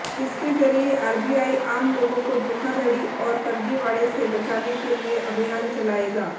इसके जरिए आरबीआई आम लोगों को धोखाधड़ी और फर्जीवाड़े से बचाने के लिए अभियान चलाएगा